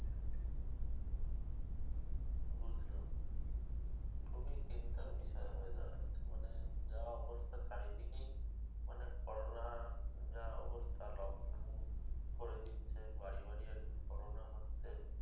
বুঝলাম খুবই চিন্তার বিষয় হয়ে দাঁড়াচ্ছে মানে যা অবস্থা চারিদিকেই মানে করোনা যা অবস্থা লকডাউন করে দিচ্ছে বাড়ি বাড়ি আর কি করোনা হচ্ছে